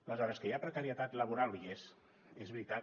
aleshores que hi ha precarietat laboral hi és és veritat